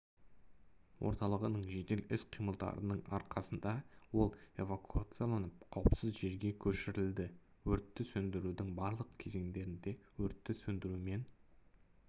орталығының жедел іс-қимылдарының арқасында ол эвакуацияланып қауіпсіз жерге көшірілді өртті сөндірудің барлық кезеңдерінде өртті сөндірумен